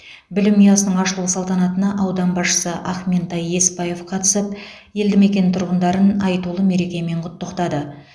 білім ұясының ашылу салтанатына аудан басшысы ақментай есбаев қатысып елді мекен тұрғындарын айтулы мерекемен құттықтады